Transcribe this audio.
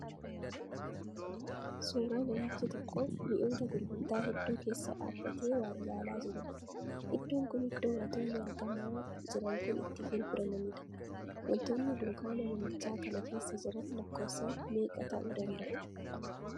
Suuraa namichi tokko mi'oota gurgurtaa hedduu keessa dhaabbatee waa ilaalaa jiruudha. Iddoon kun iddoo wantoonni argamaa jiran kun itti gurguramaniidha. Wantoonni dunkaana namichaa kana keessa jiran lakkoofsaan meeqa ta'u danda'u?